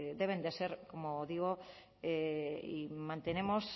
deben de ser como digo y mantenemos